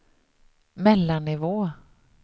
mellannivå